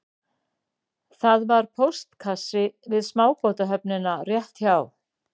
Það var póstkassi við smábátahöfnina rétt hjá